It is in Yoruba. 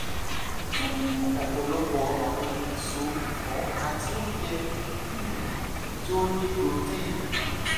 tún mú ọ̀pọ̀lọpọ̀ àwọn èso ẹ̀fọ́ àti oúnjẹ um tí ó ní protein